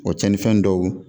O tiɲɛnifɛn dɔw